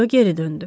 Rö geri döndü.